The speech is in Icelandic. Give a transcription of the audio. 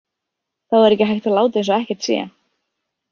Þá er ekki hægt að láta eins og ekkert sé.